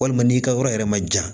Walima n'i ka yɔrɔ yɛrɛ ma ja